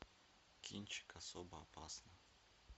кинчик особо опасна